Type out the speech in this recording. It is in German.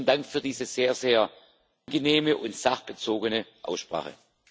Besten Dank für diese sehr, sehr angenehme und sachbezogene Aussprache.